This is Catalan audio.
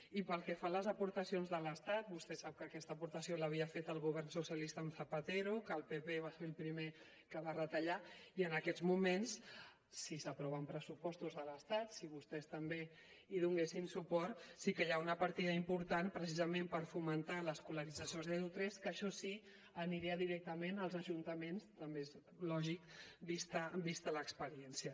i pel que fa a les aportacions de l’estat vostè sap que aquesta aportació l’havia fet el govern socialista amb zapatero que el pp va ser el primer que va retallar i en aquests moments si s’aproven pressupostos de l’estat si vostès també hi donessin suport sí que hi ha una partida important precisament per fomentar l’escolarització zero tres que això sí aniria directament als ajuntaments també és lògic vista l’experiència